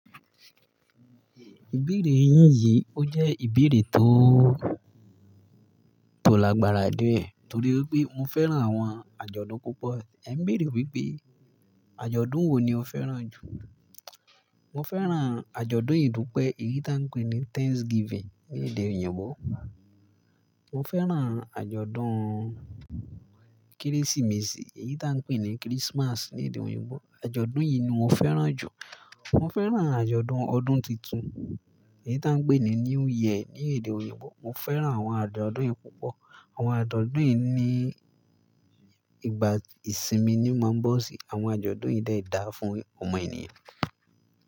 Ìbéèrè yín yìí, ó jẹ́ ìbéèrè tó, tó lágbára díẹ̀ torí pé mo fẹ́ràn àwọn àjọ̀dún púpọ̀. Ẹ ń béèrè wípé àjọ̀dún wo ni o fẹ́ràn jù? Mo fẹ́ràn àjọ̀dún ìdúpẹ́, èyí tá ń pè ní Thanksgiving ní èdè òyìnbó. Mo fẹ́ràn àjọ̀dún Kérésìmesì, èyí tá ń pè ní (Christmas) ní èdè òyìnbó. Àjọ̀dún yìí ni mo fẹ́ràn jù. Mo fẹ́ràn àjọ̀dún ọdún tuntun, èyí tá ń pè ní New Year ní èdè òyìnbó. Mo fẹ́ràn àwọn àjọ̀dún yìí púpọ̀. Àwọn àjọ̀dún yìí ni ìgbà ìsinmi ni máa ń bọ̀ sí. Àwọn àjọ̀dún yìí de dà fún ọmọ ènìyàn.